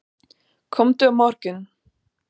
Komdu á morgun.